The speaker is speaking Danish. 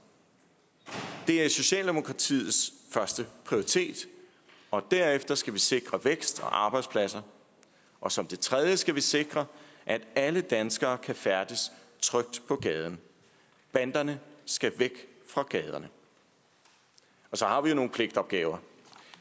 det er socialdemokratiets første prioritet derefter skal vi sikre vækst og arbejdspladser og som det tredje skal vi sikre at alle danskere kan færdes trygt på gaden banderne skal væk fra gaderne og så har vi jo nogle pligtopgaver